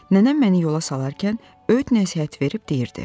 Nənəm məni yola salarkən öyüd-nəsihət verib deyirdi: